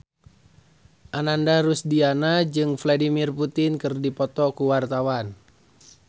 Ananda Rusdiana jeung Vladimir Putin keur dipoto ku wartawan